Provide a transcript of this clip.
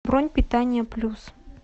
бронь питание плюс